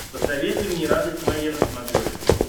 посоветуй мне радость моя на смотрешке